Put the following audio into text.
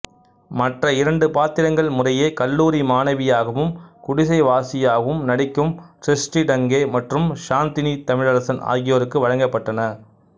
மற்ற இரண்டு பாத்திரங்கள் முறையே கல்லூரி மாணவியாகவும் குடிசைவாசியாகவும் நடிக்கும் சிருஷ்டி டங்கே மற்றும் சாந்தினி தமிழரசன் ஆகியோருக்கு வழங்கப்பட்டன